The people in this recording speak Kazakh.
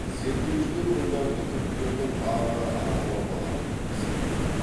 зерттеушілер ғұндарды түріктердің арғы ата бабалары деп есептейді